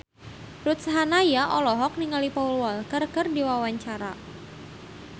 Ruth Sahanaya olohok ningali Paul Walker keur diwawancara